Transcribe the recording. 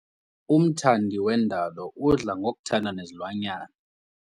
Umthandi wendalo udla ngokuthanda nezilwanyana.